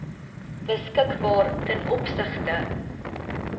beskikbaar ten opsigte